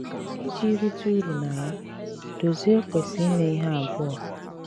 Ìji rìtè ùrù na ya, Dòzìè kwesị̀ ímè ihe abụọ.